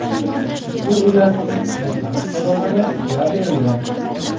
Ushbu uylarning boshlang‘ich to‘lovlari to‘lab berilgan.